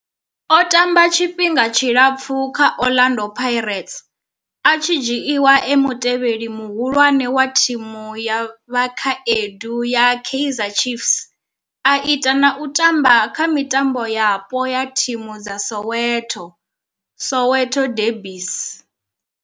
O tamba tshifhinga tshilapfu kha Orlando Pirates, a tshi dzhiiwa e mutevheli muhulwane wa thimu ya vhakhaedu ya Kaizer Chiefs, a ita na u tamba kha mitambo yapo ya thimu dza Soweto, Soweto derbies.